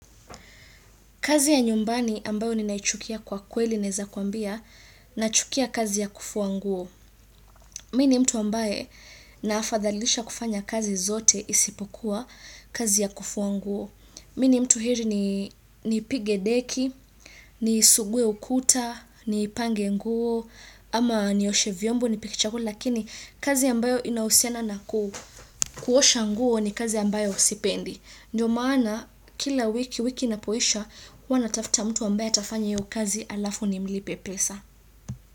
Kazi ya nyumbani ambayo ni naichukia kwa kweli neweza kuambia na chukia kazi ya kufua nguo. Mimi mtu ambaye naafadhalisha kufanya kazi zote isipokuwa kazi ya kufua nguo. Mimi mtu heri ni nipige deki, ni sugue ukuta, ni pange nguo, ama ni oshe vyombo nipike chakula lakini kazi ambayo inahusiana naku kuosha nguo ni kazi ambayo sipendi. Ndiyo maana kila wiki wiki inapoisha. Huwa na tafuta mtu ambaye atafanya hiyo kazi alafu ni mlipe pesa.